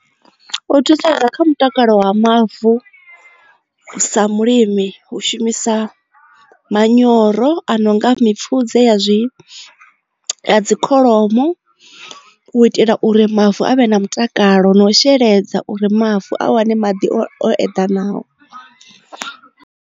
U thusedza kha mutakalo wa mavu sa mulimi hu shumisa manyoro a nonga mipfudze ya zwi ya dzi kholomo u itela uri mavu avhe na mutakalo na u sheledza uri mavu a wane maḓi o eḓanaho.